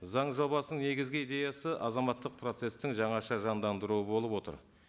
заң жобасының негізгі идеясы азаматтық процесстің жаңша жандандыруы болып отыр